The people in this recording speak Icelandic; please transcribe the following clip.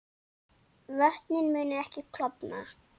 Vötnin munu ekki klofna